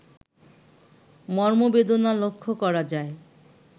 মর্মবেদনা লক্ষ্য করা যায়